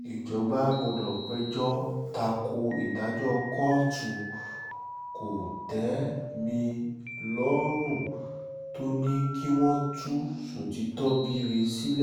ìjọba gbọdọ̀ péjọ ta ko ìdájọ́ kóòtù kò-tẹ́-mi-lọ́rùn tó ní kí wọ́n tú ṣọ́títọ́bírẹ̀ sílẹ̀